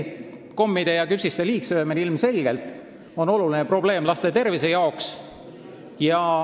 Kommide ja küpsiste liigsöömine on ilmselgelt oluline probleem laste tervise jaoks.